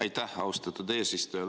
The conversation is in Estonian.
Aitäh, austatud eesistuja!